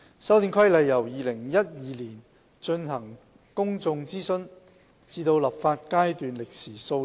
《修訂規例》由2012年進行公眾諮詢至立法階段，歷時數年。